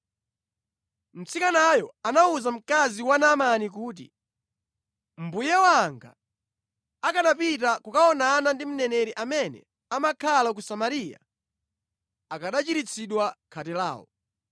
Mtsikanayo anawuza mkazi wa Naamani kuti, “Mbuye wanga akanapita kukaonana ndi mneneri amene amakhala ku Samariya, akanachiritsidwa khate lawo.”